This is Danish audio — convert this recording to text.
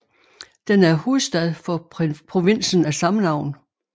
Den er hovedstad for provinsen af samme navn